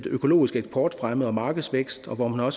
økologisk eksportfremme og markedsvækst hvor man har